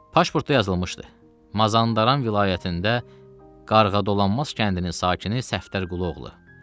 Pasportda yazılmışdı: Mazandaran vilayətində Qarğadolanmaz kəndinin sakini Səfdər Quluoğlu.